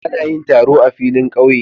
Ana yin taro a filin ƙauye.